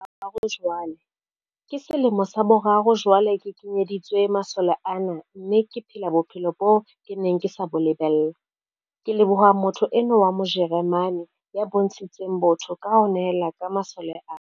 "Ke selemo sa boraro jwale ke kenyeditswe masole ana mme ke phela bophelo boo ke neng ke sa bo lebella, ke leboha motho enwa wa Mo jeremane ya bontshitseng botho ka ho nehela ka masole ana."